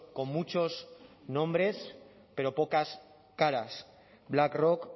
con muchos nombres pero pocas caras black rock